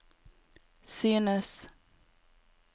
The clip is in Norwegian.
synes